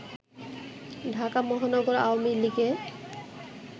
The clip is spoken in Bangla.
ঢাকা মহানগর আওয়ামী লীগে